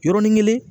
Yɔrɔnin kelen